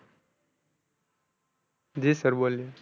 જી sir બોલીએ.